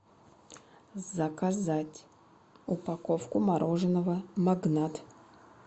заказать упаковку мороженого магнат